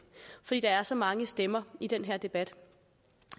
fordi der er så mange stemmer i den her debat